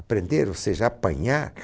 Aprender, ou seja, apanhar.